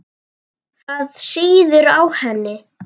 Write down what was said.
Það sýður á henni.